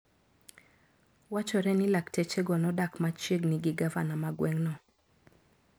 Wachore ni laktechego nodak machiegni gi gavana ma gweng`no.